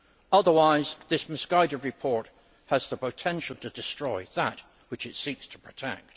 Otherwise, this misguided report has the potential to destroy that which it seeks to protect.